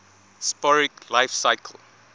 'sporic life cycle